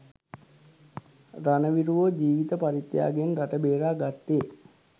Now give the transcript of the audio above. රණවිරුවෝ ජීවිත පරිත්‍යාගයෙන් රට බේරා ගත්තේ